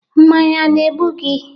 Mmanya ana-egbu gị?